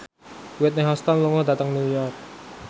Whitney Houston lunga dhateng New York